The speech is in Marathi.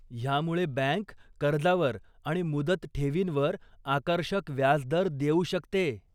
ह्यामुळे बॅंक कर्जावर आणि मुदत ठेवींवर आकर्षक व्याजदर देऊ शकते.